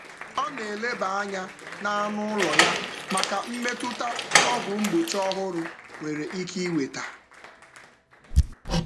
Ọ na-eleba anya na anụ ụlọ ya maka mmetụta ọgwụ mgbochi ọhụrụ nwere um ike iweta.